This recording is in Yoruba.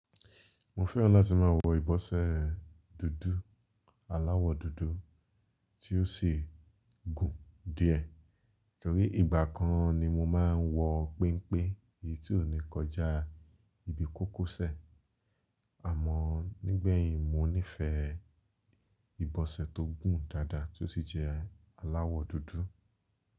Mo fẹ́ràn láti máa wọ ìbọsẹ́ dúdú, aláwọ̀ dúdú tí ó sì gùn díẹ̀. Ítorí ìgbà kan ni mo máa ń wọ penpe èyí tí ó ní kọjá ibi kókósẹ̀. Àmọ́ nígbẹ̀yìn mo nífẹ̀ẹ́ ìbọsẹ̀ tó gùn dáadáa tí ó sì jẹ́ aláwọ̀ dúdú.